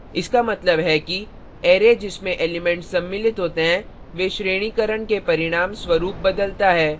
इसका मतलब है कि array जिसमें elements सम्मिलित होते हैं वे श्रेणीकरण के परिणाम स्वरूप बदलता है